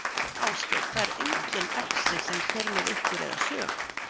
Ásgeir: Það er engin exi sem fer með ykkur eða sög?